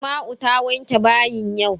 Asma'u ta wanke bayin yau.